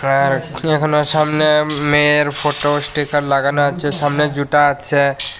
অ্যার সামনে মেয়ের photo sticker লাগানো আছে সামনে যুটা আছে।